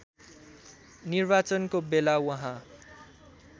निर्वाचनको बेला उहाँ